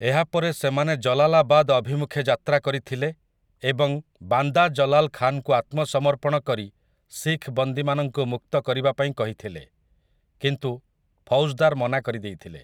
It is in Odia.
ଏହାପରେ ସେମାନେ ଜଲାଲାବାଦ୍ ଅଭିମୁଖେ ଯାତ୍ରା କରିଥିଲେ ଏବଂ ବାନ୍ଦା ଜଲାଲ୍ ଖାନ୍‌ଙ୍କୁ ଆତ୍ମସମର୍ପଣ କରି ଶିଖ୍ ବନ୍ଦୀମାନଙ୍କୁ ମୁକ୍ତ କରିବା ପାଇଁ କହିଥିଲେ, କିନ୍ତୁ ଫୌଜଦାର ମନା କରିଦେଇଥିଲେ ।